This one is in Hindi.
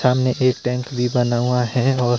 सामने एक टैंक भी बना हुआ है और--